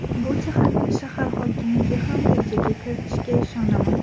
Bu jihatni shahar hokimligi ham rejaga kiritishiga ishonaman.